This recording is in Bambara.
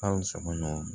Kalo saba ɲɔgɔn